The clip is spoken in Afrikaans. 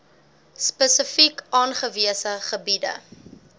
spesifiek aangewese gebiede